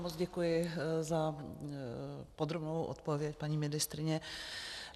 Moc děkuji za podrobnou odpověď, paní ministryně.